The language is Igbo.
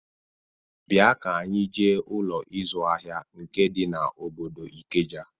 Bịa ka anyị jee Ụlọ ịzụ ahịa nke dị n'obodo Ikeja!